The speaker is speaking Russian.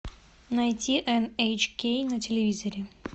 найти эн эйч кей на телевизоре